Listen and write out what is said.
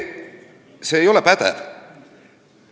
See ei ole pädev.